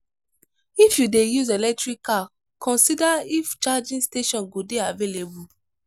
if you dey use electric car consider if charging station go dey available